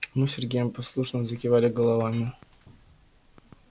мы с сергеем послушно закивали головами